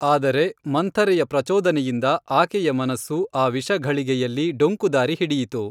ಆದರೆ ಮಂಥರೆಯ ಪ್ರಚೋದನೆಯಿಂದ ಆಕೆಯ ಮನಸ್ಸು ಆ ವಿಷಘಳಿಗೆಯಲ್ಲಿ ಡೊಂಕುದಾರಿ ಹಿಡಿಯಿತು